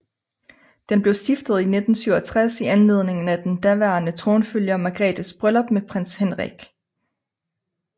Den blev stiftet i 1967 i anledning af den daværende tronfølger Margrethes bryllup med Prins Henrik